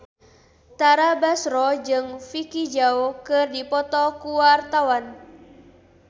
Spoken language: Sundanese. Tara Basro jeung Vicki Zao keur dipoto ku wartawan